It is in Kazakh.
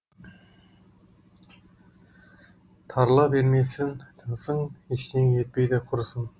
тарыла бермесін тынысың ештеңе етпейді құрысын